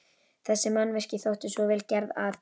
Þessi mannvirki þóttu svo vel gerð, að